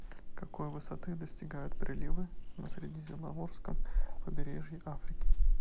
какой высоты достигают приливы на средиземноморском побережье африки